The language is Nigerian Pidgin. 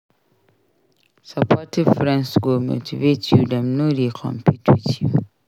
Supportive friends go motivate you dem no dey compete with you.